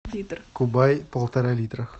кубай полтора литра